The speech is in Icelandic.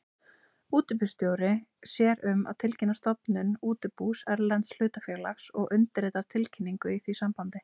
Útibússtjóri sér um að tilkynna stofnun útibús erlends hlutafélags og undirritar tilkynningu í því sambandi.